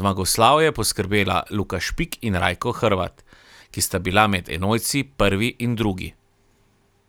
zmagoslavje poskrbela Luka Špik in Rajko Hrvat, ki sta bila med enojci prvi in drugi.